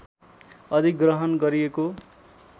अधिग्रहण गरिएको